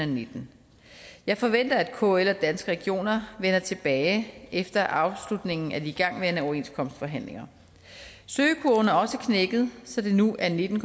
nitten jeg forventer at kl og danske regioner vender tilbage efter afslutningen af de igangværende overenskomstforhandlinger søgningskurven er også knækket så det nu er nitten